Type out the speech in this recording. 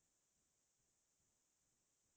তাৰ পিছত টেঙাৰ আন্জ্যা